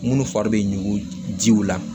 Minnu fari bɛ ɲugu jiw la